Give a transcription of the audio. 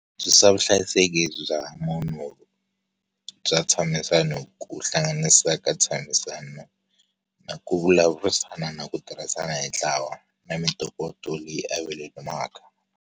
Vuhlayiseki bya munhu bya ntshamisano ku hlanganisa ka tshamisano, na ku vulavurisana na ku tirhisana hi ntlawa na mintokoto leyi .